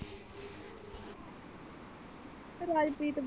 Rajpreet.